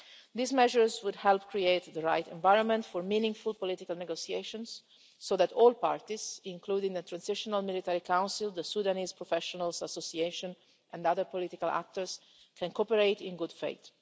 These measures would help create the right environment for meaningful political negotiations, so that all parties including a transitional military council, the Sudanese Professionals Association and other political actors can cooperate in good faith.